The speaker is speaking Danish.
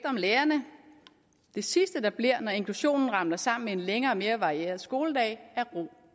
lærerne det sidste der bliver når inklusionen ramler sammen med en længere mere varieret skoledag er ro